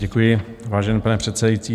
Děkuji, vážený pane předsedající.